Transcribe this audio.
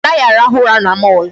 A naghị arahụ ụra na mall.